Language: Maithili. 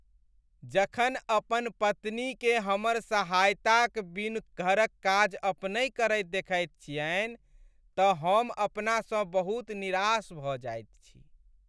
जखन अपन पत्नीकेँ हमर सहायताक बिनु घरक काज अपनहि करैत देखैत छियनि तँ हम अपनासँ बहुत निराश भऽ जाइत छी।